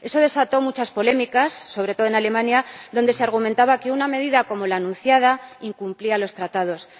Eso desató muchas polémicas, sobre todo en Alemania, donde se argumentó que una medida como la anunciada incumplía los Tratados.